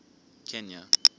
kenya